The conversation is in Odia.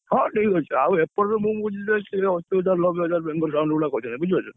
ହଁ ଠିକ ଅଛି, ଆଉ ଏପଟରେ ମୁଁ ବୁଝିଲି, ସେଇ ଅଶି ହଜାର ନବେ ହଜାର କରିବେ ବୁଝିପାରୁଛ ନା?